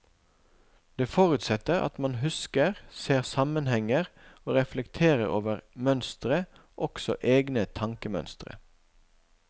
Det forutsetter at man husker, ser sammenhenger og reflekterer over mønstre, også egne tankemønstre.